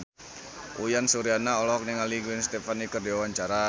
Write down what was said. Uyan Suryana olohok ningali Gwen Stefani keur diwawancara